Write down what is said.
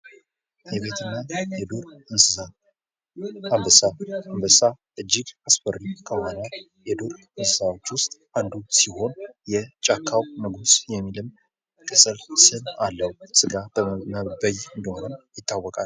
የቤትና የዱር እንሰሳት አንበሳ እጅግ አስፈሪ ከሆነ የዱር እንሰሳዎች ውስጥ ሲሆን የጫካው ንጉስ የሚል ቅፅል ስምም አለው። ስጋ በይ እንደሆነም ይታወቃል።